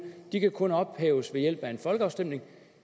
de kan kun ophæves ved hjælp af en folkeafstemning